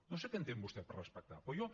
no sé què entén vostè per respectar però jo